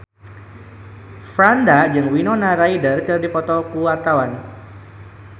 Franda jeung Winona Ryder keur dipoto ku wartawan